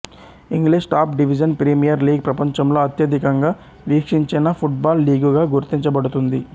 English top division premier league ప్రపంచంలో అత్యధికంగా వీక్షించిన ఫుట్బాల్ లీగుగా గుర్తించబడుతుంది